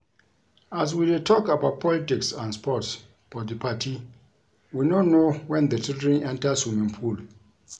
As we dey talk about politics and sports for the party we no know wen the children enter swimming pool